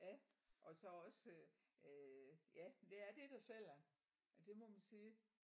Ja og så også øh øh ja men det er det der sælger ja det må man sige